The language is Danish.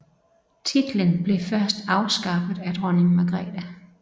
Titlen blev først afskaffet af dronning Margrethe